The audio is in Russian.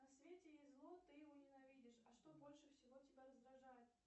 на свете есть зло ты его ненавидишь а что больше всего тебя раздражает